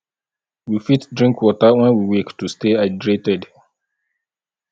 we fit drink water when we wake to stay hydrated